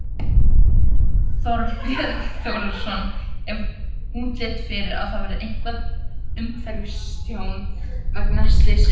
Þorbjörn Þórðarson: Er útlit fyrir að það verði eitthvað umhverfistjón vegna slyssins?